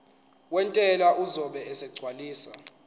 wentela uzobe esegcwalisa